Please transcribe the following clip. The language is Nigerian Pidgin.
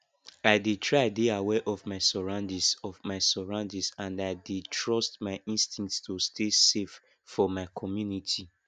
i dey try dey aware of my surroundings of my surroundings and i dey trust my instincts to stay safe for my community